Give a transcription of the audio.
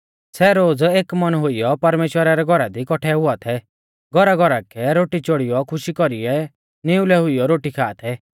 सै रोज़ एक मन हुइयौ परमेश्‍वरा रै घौरा दी कौठै हुआ थै घौराघौरा कै रोटी चोड़ीऔ खुशी कौरीऐ निउलै हुइयौ रोटी खा थै